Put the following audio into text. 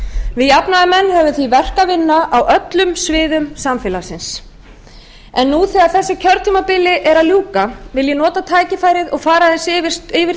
við jafnaðarmenn höfum því verk að vinna á öllum sviðum samfélagsins nú þegar kjörtímabilinu er að ljúka vil ég nota tækifærið og fara aðeins yfir